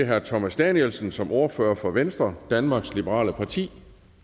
herre thomas danielsen som ordfører for venstre danmarks liberale parti